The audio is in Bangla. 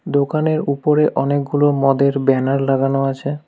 দোকানের ওপরে অনেকগুলো মদের ব্যানার লাগানো আছে।